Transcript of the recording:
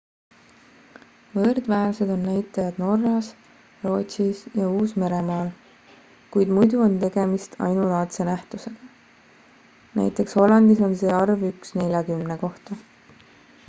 võrdväärsed on näitajad norras rootsis ja uus-meremaal kuid muidu on tegemist ainulaadse nähtusega nt hollandis on see arv üks neljakümne kohta